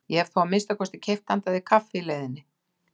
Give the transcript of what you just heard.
Ég hefði þá að minnsta kosti keypt handa þér kaffi í leiðinni.